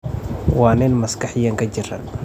Waa nin maskaxiyan ka jiran.